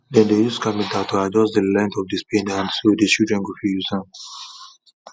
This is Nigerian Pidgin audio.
them dey use carpenter to adjust the length of the spade hand so the children go fit use am